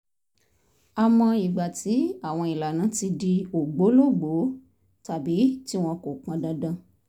á mọ ìgbà tí àwọn ìlànà ti di ògbólógbòó tàbí tí wọn kò pọn dandan